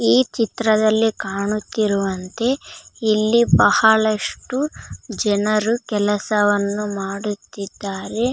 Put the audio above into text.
ಈ ಚಿತ್ರದಲ್ಲಿ ಕಾಣುತ್ತಿರುವಂತೆ ಇಲಿ ಬಹಳಷ್ಟು ಜನರು ಕೆಲಸವನ್ನು ಮಾಡುತ್ತಿದ್ದಾರೆ .